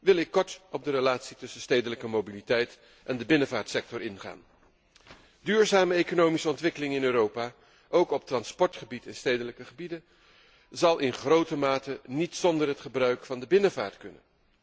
wil ik kort op de relatie tussen de stedelijke mobiliteit en de binnenvaartsector ingaan. De duurzame economische ontwikkeling in Europa, ook op transportgebied en in de stedelijke gebieden, zal in grote mate niet zonder het gebruik van de binnenvaart kunnen.